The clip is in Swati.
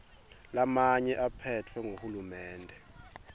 lamanye aphetfwe nguhulumende